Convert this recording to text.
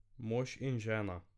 Mož in žena.